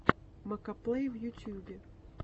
макоплэй в ютьюбе